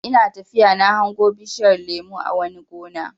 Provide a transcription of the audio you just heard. Ina tafiya na hango bishiyar lemo a wani gona.